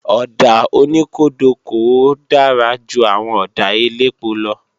Ọ̀dà oníkódokòo dára ju àwọn ọ̀dà elépo lọ